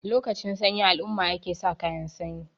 lokacin sanyi alumma ake sa kayan sanyi